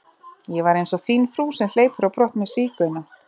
Ég var einsog fín frú sem hleypur á brott með sígauna.